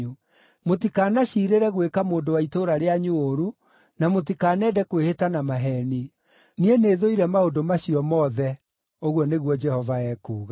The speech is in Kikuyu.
mũtikanaciirĩre gwĩka mũndũ wa itũũra rĩanyu ũũru, na mũtikanende kwĩhĩta na maheeni. Niĩ nĩthũire maũndũ macio mothe,” ũguo nĩguo Jehova ekuuga.